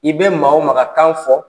I bɛ maa o makan fɔ